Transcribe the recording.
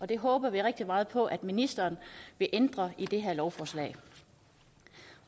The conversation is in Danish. det håber vi rigtig meget på at ministeren vil ændre i det her lovforslag